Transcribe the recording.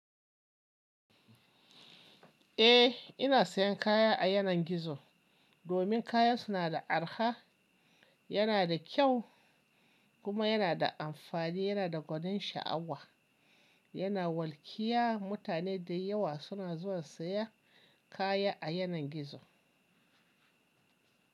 Eh, ina sayan kaya a yanar gizo domin kayan suna da araha, yana da kyau kuma yana da amfani, yana da gwanin sha'awa, yana walƙiya. Mutane dayawa suna zuwa saya kaya a yanar gizo.